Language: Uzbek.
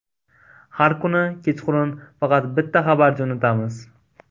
Har kuni kechqurun faqat bitta xabar jo‘natamiz.